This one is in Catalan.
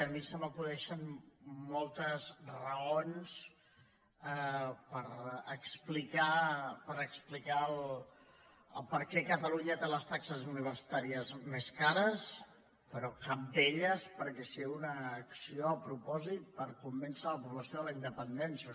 a mi se m’acudeixen moltes raons per explicar per què catalunya té les taxes universi·tàries més cares però cap d’elles perquè sigui una ac·ció a propòsit per convèncer la població de la indepen·dència